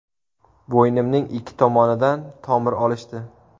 Bo‘ynimning ikki tomonidan tomir olishdi.